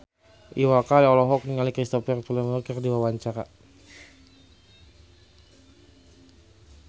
Iwa K olohok ningali Cristhoper Plumer keur diwawancara